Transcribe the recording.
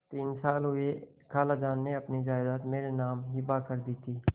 तीन साल हुए खालाजान ने अपनी जायदाद मेरे नाम हिब्बा कर दी थी